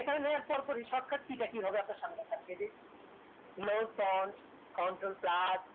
এখানে পুরো পুরি shortcut key টা কি হবে আপনাকে দেখিয়ে দি low pond